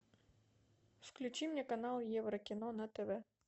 включи мне канал еврокино на тв